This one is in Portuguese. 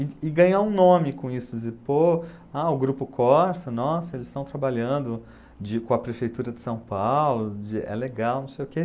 E e ganhar um nome com isso, dizer, pô, ah, o Grupo Corsa, nossa, eles estão trabalhando de com a Prefeitura de São Paulo, de é legal, não sei o quê.